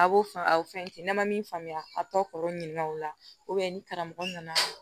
a b'o faamu aw fɛn tɛ n'an ma min faamuya a tɔ kɔrɔ ɲininkaw la ni karamɔgɔ nana